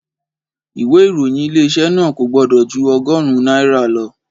Ìwé ìròyìn Ilé-iṣẹ́ náà kò gbọ́dọ̀ jú ọgọ́rùn-ún náírà lọ